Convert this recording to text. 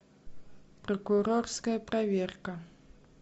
прокурорская проверка